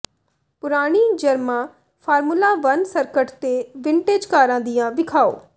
ਪੁਰਾਣੀ ਜਰਮਾ formula one circuit ਤੇ ਵਿੰਟਰਜ ਕਾਰਾਂ ਦੀਆਂ ਵਿਖਾਉ